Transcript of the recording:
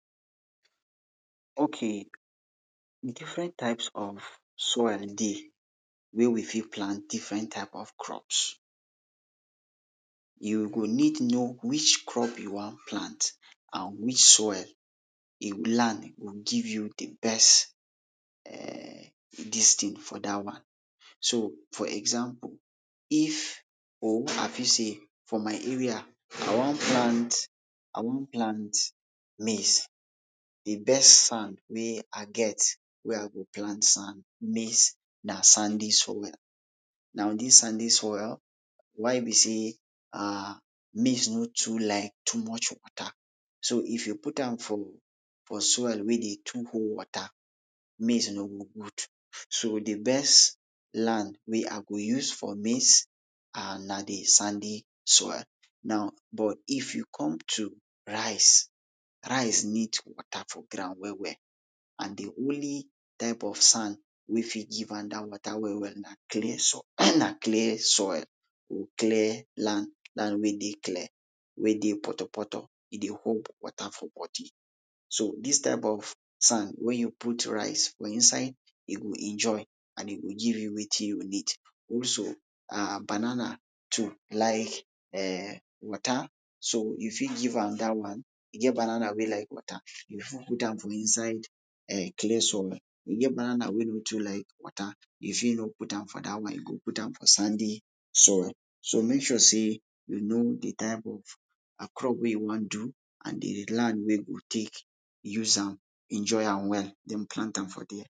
okay difren types of soil dey wen wi fit plant difren types of crops yu go nid know which crop yu wan plant on wich soil a gud land go give yu de best dis tin fo dat one so fo example if or i fit sey fo my area i wan plant i wan plant maize de best sand wey i get wey i go plant sand maize na sandy soil now dis sandy soil why bi sey ahhh maize no too like too much wata so if yu put am fo soil wey de too hold wata de maize no go gud so de best land wey i go use fo maize ahh na de sandy soil now but if yu com to rice rice nid wata fo ground wel wel an de onli type of sand wey fit give am dat wata wel wel lay soil na clay soil clay land dats land wey dey clay wey dey poto poto e dey hold wata fo body o dis type of sand wey ey yu put rice fo inside e go enjoy an e go give yu wetin yu nidd also ah banana too like ehhh wata so yu fit give am dat one e get babana wey like wata put am fo inside ehh clay soil e get banana wey no too like wata yu fit no put am fo dat one yu go put am fo sandy soil so mek sure sey yu know dey type of ehh crop wey yu wan do an de land wey go dey use am enjoy am wel den plant am fo dere